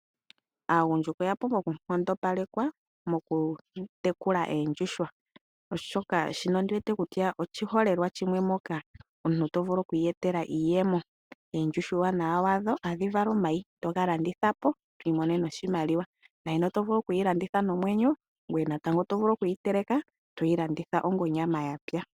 Aagundjuka oya pumbwa oku nkondopalekwa mokutekula oondjuhwa oshoka shino oshiholelwa shimwe mono omuntu tavulu okwiikongela iiyemo. Oondjuhwa uuwanawa wadho ohadhi vala omayi to vulu okuga landithapo eto imonene oshimaliwa, oto vulu okuyi landitha nomwenyo noto vulu okuyi teleka toyilanditha onyama yatsa.